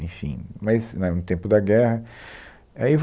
Enfim, mas na, no tempo da guerra. Aí